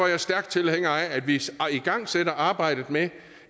jeg stærk tilhænger af at vi igangsætter arbejdet med